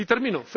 Y termino.